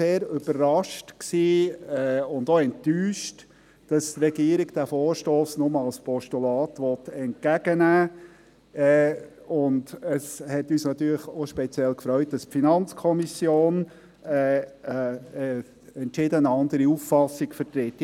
Wir waren deswegen sehr überrascht und enttäuscht, dass die Regierung den Vorstoss nur als Postulat entgegennehmen will, und es freute uns natürlich auch speziell, dass die FiKo eine entschieden andere Auffassung vertritt.